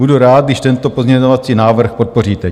Budu rád, když tento pozměňovací návrh podpoříte.